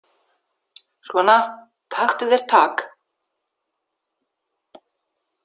Svona taktu þér tak.